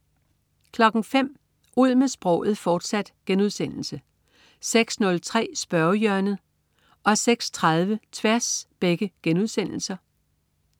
05.00 Ud med sproget, fortsat* 06.03 Spørgehjørnet* 06.30 Tværs*